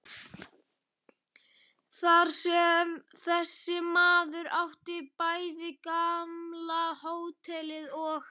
Þar sem þessi maður átti bæði gamla hótelið og